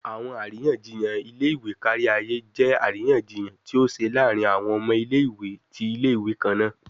Awọn ariyanjiyan ile-iwe kariaye jẹ ariyanjiyan ti o ṣe laarin awọn ọmọ ile-iwe ti ile-iwe kanna